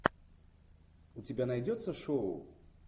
у тебя найдется шоу